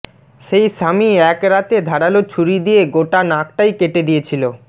সেই স্বামী এক রাতে ধারালো ছুরি দিয়ে গোটা নাকটাই কেটে দিয়েছিল